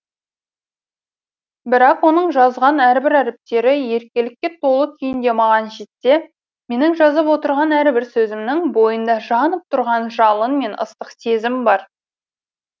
бірақ оның жазған әрбір әріптері еркелікке толы күйінде маған жетсе менің жазып отырған әрбір сөзімнің бойында жанып тұрған жалын мен ыстық сезім бар